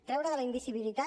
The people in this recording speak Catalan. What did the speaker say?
treure de la invisibilitat